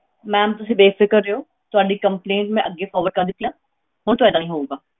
Ma'am ਤੁਸੀਂ ਬੇਫ਼ਿਕਰ ਰਹਿਓ ਤੁਹਾਡੀ complaint ਮੈਂ ਅੱਗੇ forward ਕਰ ਦਿੱਤੀ ਆ ਹੁਣ ਤੋਂ ਏਦਾਂ ਨਹੀਂ ਹੋਊਗਾ।